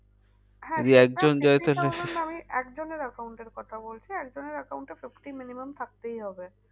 আমি একজনের account এর কথা বলছি। কজনের account এ fifty minimum থাকতেই হবে।